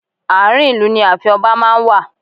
Ààrin ìlú ni ààfin ọba máa ń wà.